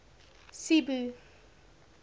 cebu